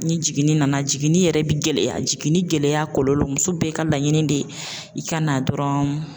Ni jiginni nana jiginni yɛrɛ bi gɛlɛya, jiginni gɛlɛya kɔlɔlɔ muso bɛɛ ka laɲini de ye i ka na dɔrɔn